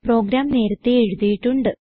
programme നേരത്തേ എഴുതിയിട്ടുണ്ട്